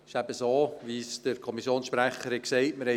Es ist so, wie es der Kommissionssprecher gesagt hat.